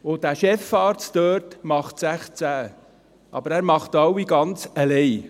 Der Chefarzt dort macht 16, aber er macht alle ganz allein.